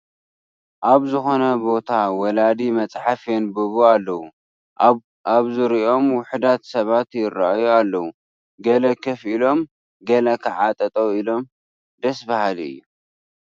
ኣብ ዝኾነ ቦታ ወላዲ መፅሓፍ የንብቡ ኣለዉ፡፡ ኣብ ዙርይኦም ውሑዳት ሰባት ይርአዩ ኣለዉ፡፡ ገለ ኮፍ ኢሎም ገለ ከዓ ጠጠው ኢሎ ኣለዉ፡፡ ደስ በሃሊ እዩ፡፡